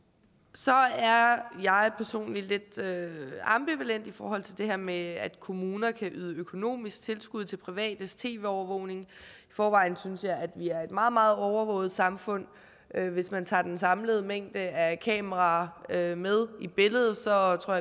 så er jeg personligt lidt ambivalent i forhold til det her med at kommuner kan yde økonomisk tilskud til privates tv overvågning i forvejen synes jeg at vi er et meget meget overvåget samfund hvis man tager den samlede mængde af kameraer med med i billedet så tror